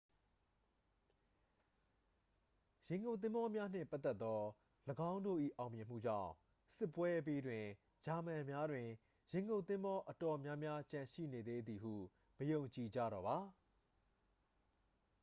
ရေငုပ်သင်္ဘောများနှင့်ပတ်သက်သော ၎င်းတို့၏အောင်မြင်မှုကြောင့် စစ်ပွဲအပြီးတွင် ဂျာမန်များတွင် ရေငုပ်သင်္ဘောအတော်များများကျန်ရှိနေသေးသည်ဟု မယုံကြည်ကြတော့ပါ